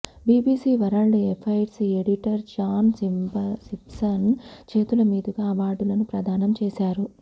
BBC world affairs editor John Simpson చేతుల మీదుగా అవార్డులను ప్రదానం చేశారు